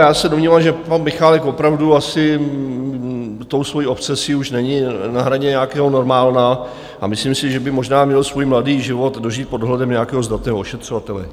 Já se domnívám, že pan Michálek opravdu asi tou svou obsesí už není na hraně nějakého normálna, a myslím si, že by možná měl svůj mladý život dožít pod dohledem nějakého zdatného ošetřovatele.